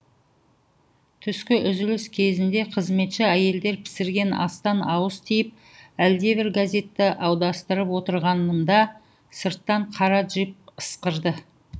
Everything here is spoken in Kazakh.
түскі үзіліс кезінде қызметші әйелдер пісірген астан ауыз тиіп әлдебір газетті аударыстырып отырғанымда сырттан қара джип ысқырды